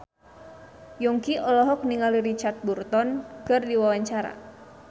Yongki olohok ningali Richard Burton keur diwawancara